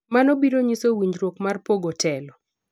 mano biro nyiso winjruok mar pogo telo